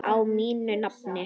Á mínu nafni?